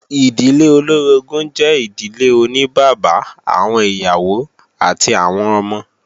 Ìdílé olóorogún jẹ́ ìdílé oní bàbá, àwọn ìyàwó àti àwọn ọmọ